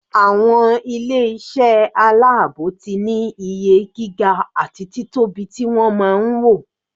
Àwọn ilé iṣẹ́ aláàbò ti ní iye gíga àti títóbi ti wọ́n máa ń wò.